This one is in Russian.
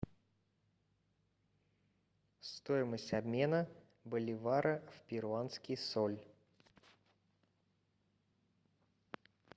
стоимость обмена боливара в перуанский соль